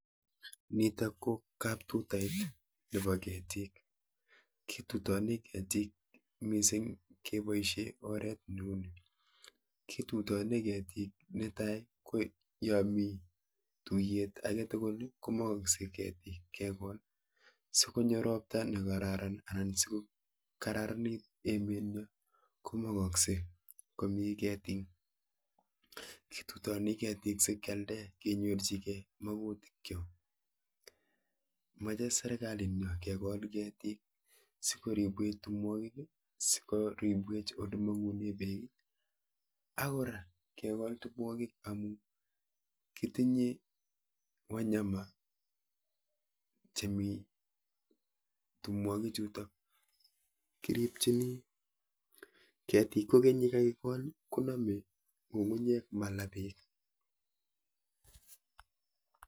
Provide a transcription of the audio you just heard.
Niitok ko kaptuta nebo ketiik, kitutani ketiik miising' keboisie oret neuni . ketutani ketik netai ko ya mi tuiyet agetugul komaakse ketiik kekool sikonyo rpta nekararan anan sikokararanitu emetnyo komagakse komii ketiik. kitutani ketiik sikealde kenyorchigei makuutik chook. meche serkaliitnyo kekool ketiik sikoribweech tumwokik, sikoribwech olemong'une peek, akora kekool tumwokik amu kitinye wanyama chemi tumwokik chuutok, kiriibchinii ketik kokeny yekaikool ng'ung'unyek malaa peek